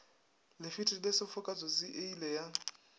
lefetile sefoka tsotsi eile ya